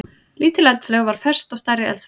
Lítil eldflaug var fest á stærri eldflaug.